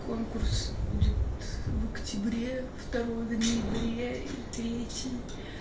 конкурс будет в октябре второй в ноябре и третий